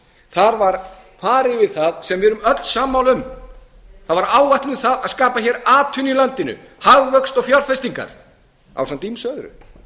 þar var farið yfir það sem við erum öll sammála um það var áætlun að skapa atvinnu í landinu hagvöxt og fjárfestingar ásamt ýmsu öðru